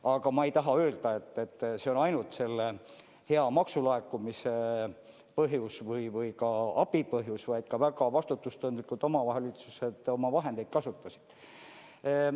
Aga ma ei taha öelda, et selle põhjus on ainult hea maksulaekumine või ka abi, vaid omavalitsused on ka väga vastutustundlikult oma vahendeid kasutanud.